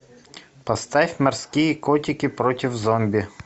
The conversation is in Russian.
поставь морские котики против зомби